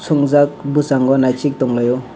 sumjak boskango naisik tang lai o.